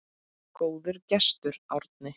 Góður gestur, Árni.